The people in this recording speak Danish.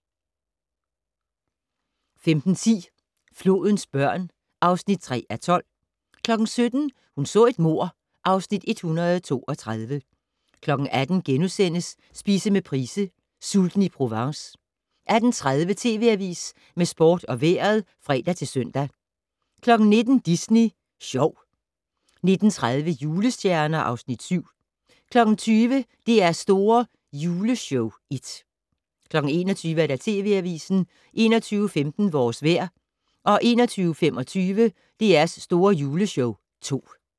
15:10: Flodens børn (3:12) 17:00: Hun så et mord (Afs. 132) 18:00: Spise med Price - Sulten i Provence * 18:30: TV Avisen med sport og vejret (fre-søn) 19:00: Disney Sjov 19:30: Julestjerner (Afs. 7) 20:00: DR's Store Juleshow (1) 21:00: TV Avisen 21:15: Vores vejr 21:25: DR's Store Juleshow (2)